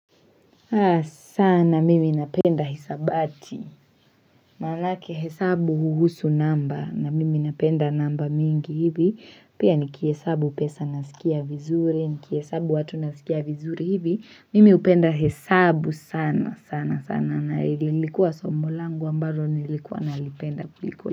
Sana mimi napenda hisabati Manake hesabu huhusu namba na mimi napenda namba mingi hivi Pia nikihesabu pesa nasikia vizuri Nikihesabu watu nasikia vizuri hivi Mimi upenda hesabu sana sana sana na ilikuwa somo langu ambaro nilikuwa nalipenda kuliko.